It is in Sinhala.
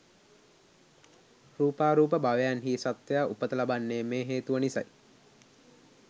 රූපාරූප භවයන්හි සත්වයා උපත ලබන්නේ මේ හේතුව නිසයි.